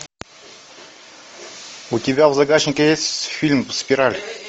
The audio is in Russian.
у тебя в загашнике есть фильм спираль